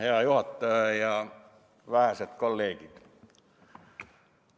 Hea juhataja ja head vähesed kolleegid!